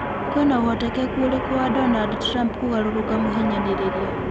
kwĩna ũhotekanu ũrĩku wa Donald trump kũgarũrũka mũhinyanĩrĩrĩa